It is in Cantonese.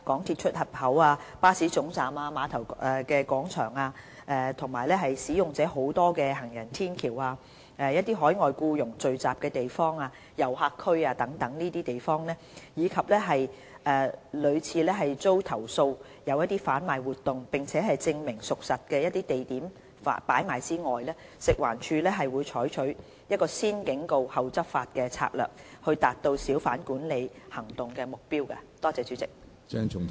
一般而言，除在公眾地方售賣禁售、限制出售的食物或熟食或在主要通道、行人絡繹不絕的地方，以及屢遭投訴有販賣活動並證明屬實的地點擺賣外，食環署會採取"先警告後執法"的策略，以達到小販管理行動的目標。